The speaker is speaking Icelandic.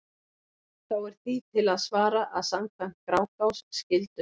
Þá er því til að svara að samkvæmt Grágás skyldu